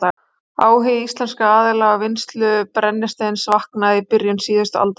Áhugi íslenskra aðila á vinnslu brennisteins vaknaði í byrjun síðustu aldar.